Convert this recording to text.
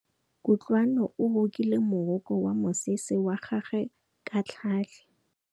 Kutlwanô o rokile morokô wa mosese wa gagwe ka tlhale.